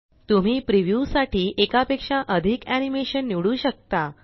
तुम्ही प्रीव्यू साठी एका पेक्षा अधिक एनीमेशन निवडू शकता